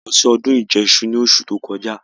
A lọ sí ọdún ìjẹṣu ní oṣù tí ó kọjá